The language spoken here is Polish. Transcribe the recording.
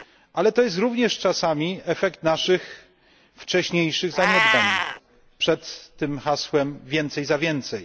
Ale to jest również czasami efekt naszych wcześniejszych zaniedbań, sprzed hasła więcej za więcej.